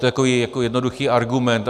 To je takový jednoduchý argument.